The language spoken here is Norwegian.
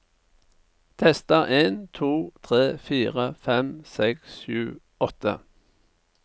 Tester en to tre fire fem seks sju åtte